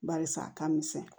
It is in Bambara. Barisa a ka misɛn